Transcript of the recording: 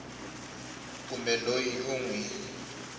kumbe loyi u n wi